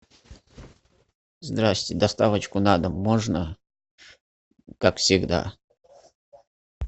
здрасте доставочку на дом можно как всегда